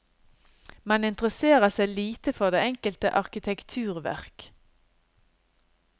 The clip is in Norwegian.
Man interesserer seg lite for det enkelte arkitekturverk.